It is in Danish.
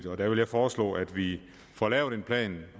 og der vil jeg foreslå at vi får lavet en plan